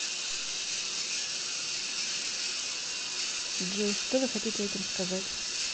джой что вы хотите этим сказать